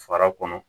Fara kɔnɔ